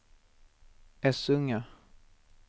Essunga